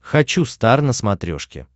хочу стар на смотрешке